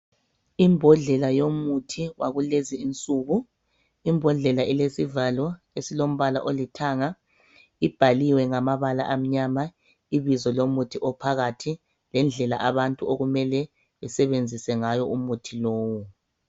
Imbodlela yomuthi wakulezi insuku. Imbodlela ilesivalo esilombala olithanga ibhaliwe ngamabala amnyama ibizo lomuthi ophakathi lendlela abantu okumele besebenzise ngayo umuthi lowu.